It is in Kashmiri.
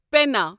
پینا